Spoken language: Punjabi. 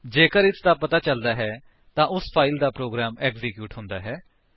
ਜੇਕਰ ਇਸਦਾ ਪਤਾ ਚੱਲਦਾ ਹੈ ਤਾਂ ਉਸ ਫਾਇਲ ਦਾ ਪ੍ਰੋਗਰਾਮ ਐਕਸੀਕਿਊਟ ਹੁੰਦਾ ਹੈ